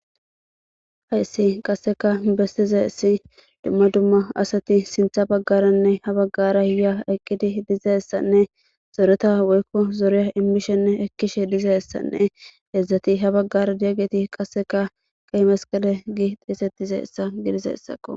Hayssi qasseka bestizessi dumma dumma asati sintha baggaranne ha baggara ya eqqidi dizeessanne zoreta woykko zoreya immishenne ekkishe dizeessanne edzdzati ha baggara diyaggeti qasseka qai masqale gi xiesettizeessa gidizeyssakqo.